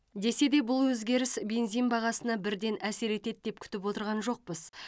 десе де бұл өзгеріс бензин бағасына бірден әсер етеді деп күтіп отырған жоқпыз